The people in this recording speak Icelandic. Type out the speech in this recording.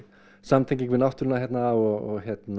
samtenging við náttúruna hérna og